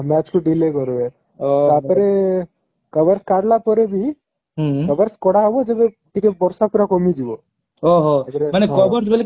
match କୁ delay କରିବେ ତାପରେ covers କାଢିଲା ପରେ ବି covers କଢା ହବ ଯେବେ ଟିକେ ବର୍ଷା ପୁରା କମିଯିବ ମାନେ covers ବୋଲି କେମିତି